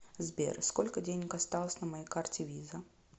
сбер сколько денег осталось на моей карте виза